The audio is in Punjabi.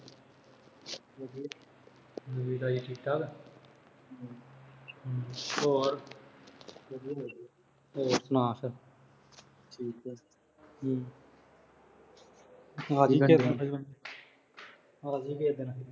ਨਵੀਂ ਤਾਜ਼ੀ ਠੀਕ ਠਾਕ। ਹਮ ਅਹ ਹਮ । ਹੋਰ ਹੋਰ ਸਣਾ ਫਿਰ। ਠੀਕ ਏ। ਹਮ ।